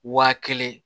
Wa kelen